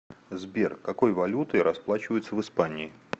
сбер какой валютой расплачиваются в испании